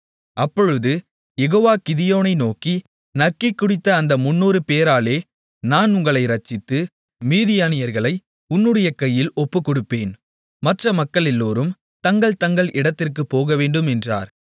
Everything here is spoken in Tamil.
அப்பொழுது யெகோவா கிதியோனை நோக்கி நக்கிக்குடித்த அந்த 300 பேராலே நான் உங்களை இரட்சித்து மீதியானியர்களை உன்னுடைய கையில் ஒப்புக்கொடுப்பேன் மற்ற மக்களெல்லோரும் தங்கள் தங்கள் இடத்திற்குப் போகவேண்டும் என்றார்